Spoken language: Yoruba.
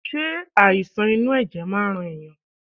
Ṣe àìsàn inú ẹ̀jẹ̀ máa ń rán ẹ̀yàn.?